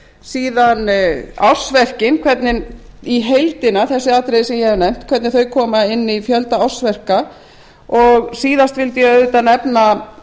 síðan ársverkin hvernig í heildina þessi atriði sem ég hef nefnt hvernig þau koma inn í fjölda ársverka og síðast vildi ég auðvitað nefna